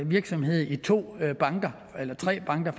virksomhed i to banker eller tre banker